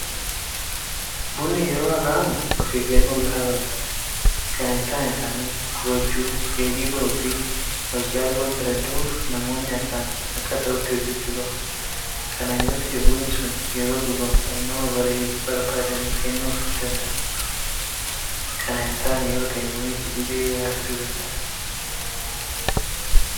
Bunni yeroo akaa'amu ofeeggannoo gahaa barbaada. Kana hintaane taanaan gubachuu, dheedhii ba'uufi walcaaluu waanta danda'uuf namoonni akaa'aan akka ta'utti hojjechuu qabu. Kana yoota'e bunni sun yeroo dhugamu dhamdhama barbaadameef kennuuf danda'a. Kana hintaane yoota'e bunichi dhibee biraa fiduu danda'a.